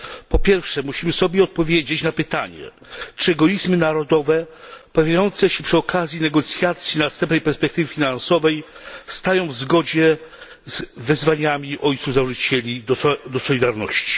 Po pierwsze, musimy sobie odpowiedzieć na pytanie, czy egoizmy narodowe pojawiające się przy okazji negocjacji następnej perspektywy finansowej stoją w zgodzie z wezwaniami ojców założycieli do solidarności?